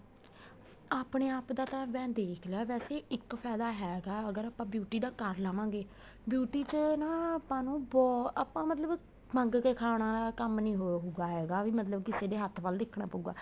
ਆਪਣੇ ਆਪ ਦਾ ਤਾਂ ਮੈਂ ਦੇਖ ਲਿਆ ਵੈਸੇ ਇੱਕ ਫਾਇਦਾ ਹੈਗਾ ਅਗਰ ਆਪਾਂ beauty ਦਾ ਕਰ ਲਵਾਗੇ beauty ਚ ਨਾ ਆਪਾਂ ਨੂੰ ਆਪਾਂ ਮਤਲਬ ਮੰਗ ਕੇ ਖਾਣ ਵਾਲਾ ਕੰਮ ਨਹੀਂ ਹਉਗਾ ਹੈਗਾ ਵੀ ਮਤਲਬ ਕਿਸੇ ਹੱਥ ਵੱਲ ਦੇਖਣਾ ਪਉਗਾ